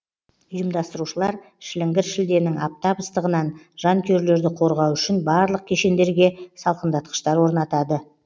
ұйымдастырушылар шіліңгір шілденің аптап ыстығынан жанкүйерлерді қорғау үшін барлық кешендерге салқындатқыштар орнатады